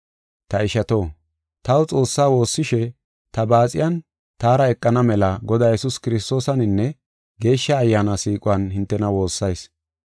Ta ishato, taw Xoossaa woossishe ta baaxiyan taara eqana mela Godaa Yesuus Kiristoosaninne Geeshsha Ayyaana siiquwan hintena woossayis.